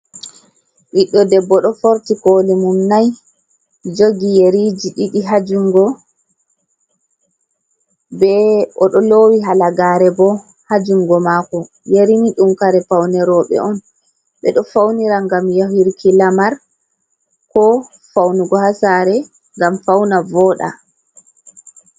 Ɓiddo debbo ɗo forti koli mum nai, jogi yariji ɗiɗi ha jungo, be oɗo lowi halagare bo h jungo mako, yari mai ɗum kare paune roɓe on ɓeɗo faunira ngam yahirki lamar, ko faunugo ha sare ngam fauna voɗa.